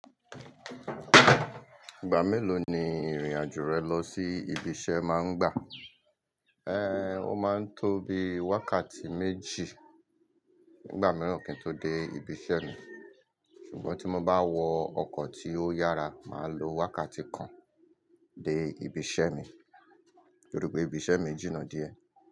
Ìgbà mélòó ni ìrìn-àjò rẹ lọ sí ibi iṣẹ́ máa ń gbà? Ẹ́, ó máa ń tó bi wákàtí méjì, nìgbà mìíràn kí n tó dé ibi iṣẹ́ mi. Ṣùgbọ́n tí mo bá wọ ọkọ̀ tí ó yára, màá lo wákàtí kan dé ibi iṣẹ́ mi torípé ibi iṣẹ́ mi jìnnà díẹ̀.